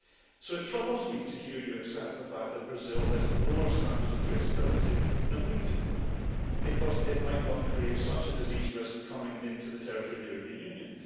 So it troubles me to hear you accept the fact that Brazil has lower standards of traceability than we do because it might not create such a disease risk coming into the territory of the European Union.